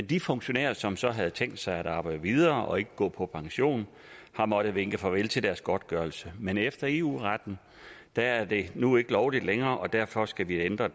de funktionærer som så havde tænkt sig at arbejde videre og ikke gå på pension har måttet vinke farvel til deres godtgørelse men efter eu retten er er det nu ikke lovligt længere derfor skal vi ændre